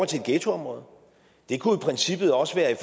til ghettoområder det kunne i princippet også være i